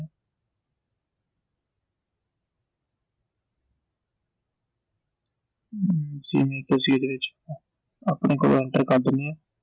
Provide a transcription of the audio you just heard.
ਤੇ ਅਸੀਂ ਇਹਦੇ ਵਿਚ ਆਪਣੇ ਕੋਲੋਂ enter ਕਰ ਦਿੰਨੇ ਆਂ